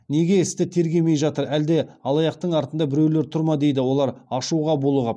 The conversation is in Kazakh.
неге істі тергемей жатыр әлде алаяқтың артында біреулер тұр ма дейді олар ашуға булығып